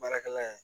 Baarakɛla ye